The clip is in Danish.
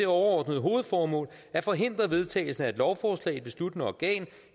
det overordnede hovedformål at forhindre vedtagelsen af et lovforslag i et besluttende organ